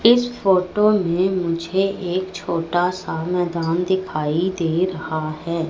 इस फोटो में मुझे एक छोटा सा मैदान दिखाई दे रहा है।